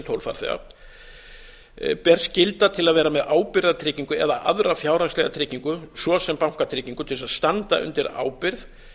en tólf farþega ber skylda til að vera með ábyrgðartryggingu eða aðra fjárhagslega tryggingu svo sem bankatryggingu til þess að standa undir ábyrgð